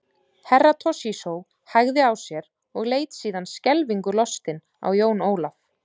Herra Toshizo hægði á sér og leit síðan skelfingu lostinn á Jón Ólaf.